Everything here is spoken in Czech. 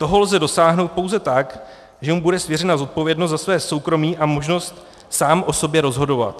Toho lze dosáhnout pouze tak, že mu bude svěřena zodpovědnost za své soukromí a možnost sám o sobě rozhodovat.